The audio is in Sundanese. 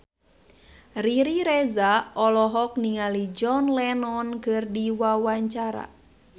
Riri Reza olohok ningali John Lennon keur diwawancara